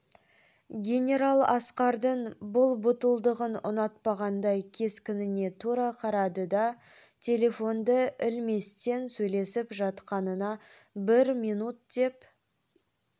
генерал асқардың бұл батылдығын ұнатпағандай кескініне тура қарады да телефонды ілместен сөйлесіп жатқанына бір минут деп